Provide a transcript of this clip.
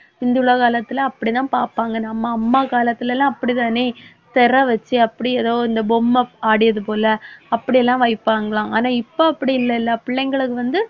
இந்த உலக காலத்துல அப்படித்தான் பார்ப்பாங்க நம்ம அம்மா காலத்துலெல்லாம் அப்படி தானே. திரை வச்சு அப்படி ஏதோ இந்த பொம்மை ஆடியது போல அப்படியெல்லாம் வைப்பாங்களாம். ஆனா இப்ப அப்படி இல்லைல்ல பிள்ளைங்களுக்கு வந்து